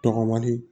Tɔgɔ wale